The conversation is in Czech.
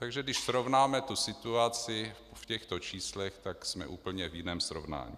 Takže když srovnáme tu situaci v těchto číslech, tak jsme úplně v jiném srovnání.